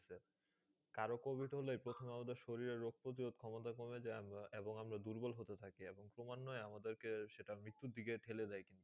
কারো covid হলে প্রথমে আমাদের শরীরে রোগ প্রতিরোধ ক্ষমতা কমে যায়। আমরা এবং আমরা দুর্বল হতে থাকি এবং ক্রমানইয়ে আমাদেরকে সেটা মৃত্যুর দিকে ঠেলে দেয়।